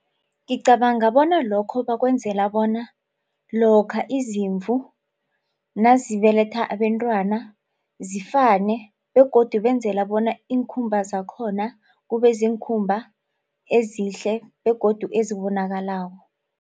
Ngicabanga bona lokho bakwenzela bona lokha izimvu nazibeletha abentwana zifane begodu benzela bona iinkhumba zakhona kube ziinkhumba ezihle begodu ezibonakalako.